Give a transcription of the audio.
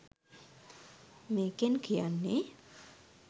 මේකෙන් කියන්නෙ